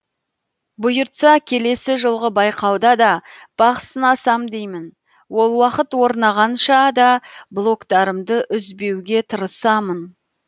бұйыртса келесі жылғы байқауда да бақ сынасам деймін ол уақыт орнағанша да блогтарымды үзбеуге тырысамын